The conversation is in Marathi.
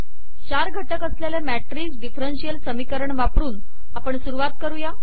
चार घटक असलेले मॅट्रिक्स डिफरंशियल समीकरण वापरून आपण सुरुवात करू